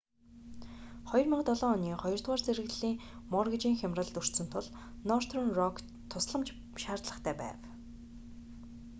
2007 оны хоёрдугаар зэрэглэлийн моргейжийн хямралд өртсөн тул нортерн рокт тусламж шаардлагатай байв